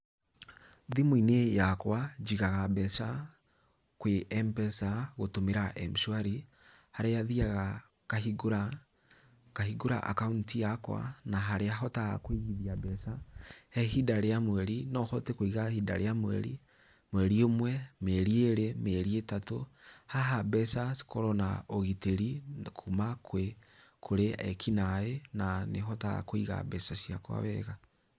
Thimũ-inĩ yakwa njigaga mbeca kwĩ M-pesa gũtũmĩra M-shwari haria thĩaga ngahingũra akaunti yakwa na harĩa hotaga kũigithia mbeca he ihinda rĩa mweri no hote kũiga ihinda rĩa mweri, mweri ũmwe, mĩeri ĩrĩ, mĩeri ĩtatũ. Haha mbeca cikoragwo na ũgitĩri kuma kũrĩ ekinaĩ na nĩ hotaga kũiga mbeca ciakwa wega.